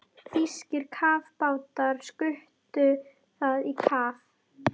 Þýskir kafbátar skutu það í kaf.